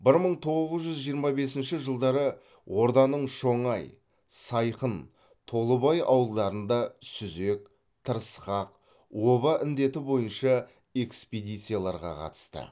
бір мың тоғыз жүз жиырма бесінші жылдары орданың шоңай сайқын толыбай ауылдарында сүзек тырысқақ оба індеті бойынша экспедицияларға қатысты